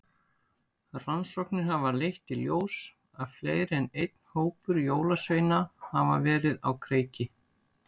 Rannsóknir hafa leitt í ljós að fleiri en einn hópur jólasveina hafa verið á kreiki.